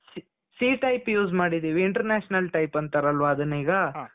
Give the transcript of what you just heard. c c type use ಮಾಡಿದ್ದೀವಿ international type ಅಂತಾರಲ್ವ ಅದನ್ನ ಈಗ